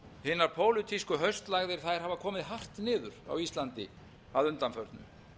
hinar pólitísku haustlægðir hafa komið hart niður á íslandi að undanförnu